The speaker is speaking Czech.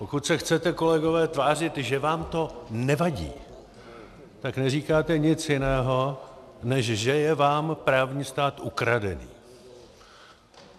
Pokud se chcete, kolegové, tvářit, že vám to nevadí, tak neříkáte nic jiného, než že je vám právní stát ukradený.